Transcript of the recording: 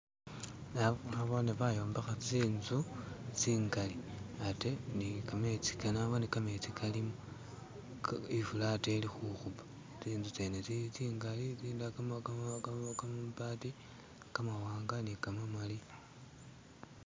Naboone bayombekha tsi'nzu tsingali ate naboone ne kametsi kalimo, ifula ate ili khukhupa, tsi'nzu tsene tsili tsingali, tsindala kamabati kamawanga ne kamamali.